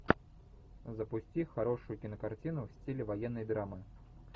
запусти хорошую кинокартину в стиле военной драмы